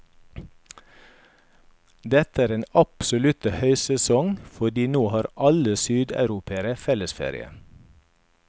Dette er den absolutte høysesong, fordi nå har alle sydeuropere, fellesferie.